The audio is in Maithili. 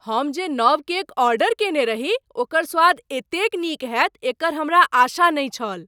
हम जे नव केक ऑर्डर कयने रही ओकर स्वाद एतेक नीक होयत एकर हमरा आशा नहि छल।